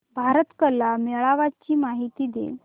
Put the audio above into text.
भारत कला मेळावा ची माहिती दे